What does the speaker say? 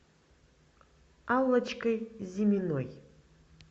аллочкой зиминой